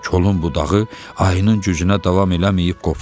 Kolun budağı ayının gücünə davam eləməyib qopdu.